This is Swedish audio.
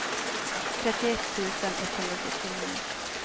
trettioett tusen etthundrasjuttionio